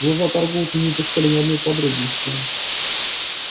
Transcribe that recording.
глаза торговца не упускали ни одной подробности